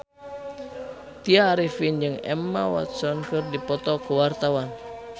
Tya Arifin jeung Emma Watson keur dipoto ku wartawan